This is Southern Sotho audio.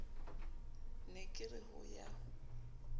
ne ke re ho ya